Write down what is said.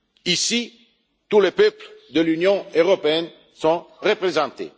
Ici, tous les peuples de l'Union européenne sont représentés.